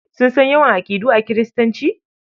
Sun san yawan aƙidu a Kiristanci?